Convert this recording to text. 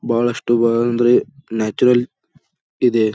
ಬಹಳಷ್ಟು ಆಹ್ಹ್ ಅಂದರೆ ನ್ಯಾಚುರಲ್ ಇದೆ.